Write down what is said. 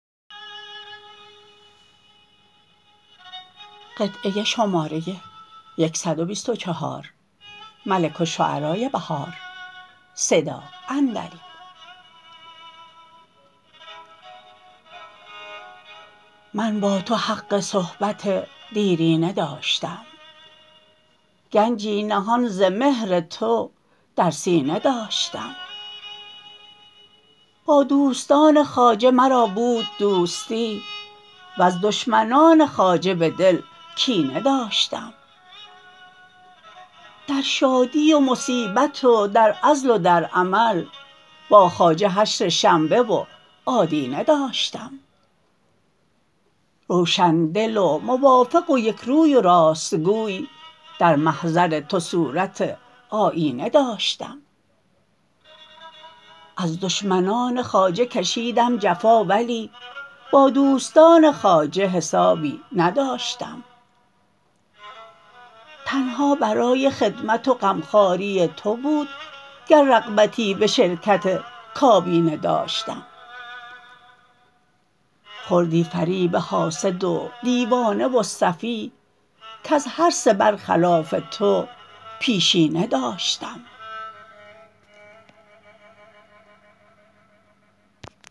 من با تو حق صحبت دیرینه داشتم گنجی نهان ز مهر تو در سینه داشتم با دوستان خواجه مرا بود دوستی وز دشمنان خواجه به دل کینه داشتم در شادی و مصیبت و در عزل و در عمل با خواجه حشر شنبه و آدینه داشتم روشن دل و موافق و یکروی و راستگوی در محضر تو صورت آیینه داشتم از دشمنان خواجه کشیدم جفا ولی با دوستان خواجه حسابی نداشتم تنها برای خدمت و غمخواری تو بود گر رغبتی به شرکت کابینه داشتم خوردی فریب حاسد و دیوانه و سفیه کز هر سه برخلاف تو پیشینه داشتم